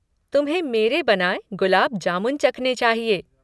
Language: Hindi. तुम्हें मेरे बनाए गुलाब जामुन चखने चाहिये।